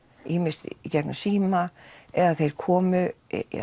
ýmist í gegnum síma eða þeir komu